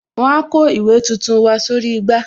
Wọn a kó ìwé tuntun wá sórí igbá